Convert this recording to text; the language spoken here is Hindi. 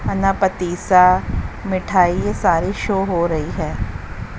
अनापतिसा मिठाई ये सारे शो हो रही है।